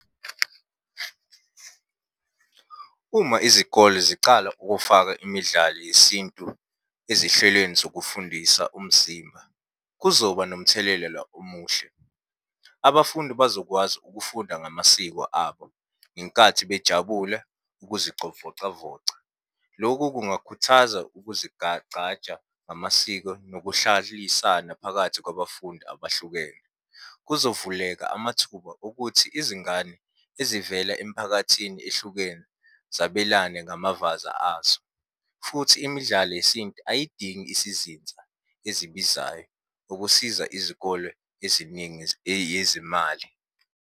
Uma izikole zicala ukufaka imidlalo yesintu ezihlelweni zokufundisa umzimba, kuzoba nomthelelela omuhle. Abafundi bazokwazi ukufunda ngamasiko abo ngenkathi bejabule ukuzicovocavoca. Lokhu kungakhuthaza ukuzigagcaja ngamasiko nokuhlalisana phakathi kwabafundi abahlukene. Kuzovuleka amathuba okuthi izingane ezivela emiphakathini ehlukene zabelane ngamavaza azo, futhi imidlalo yesintu ayidingi isizinza ezibizayo ukusiza izikole eziningi eyezimali.